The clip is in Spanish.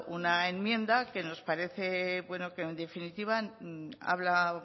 una enmienda que nos parece bueno que en definitiva habla